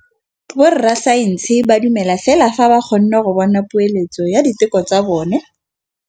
Borra saense ba dumela fela fa ba kgonne go bona poeletsô ya diteko tsa bone.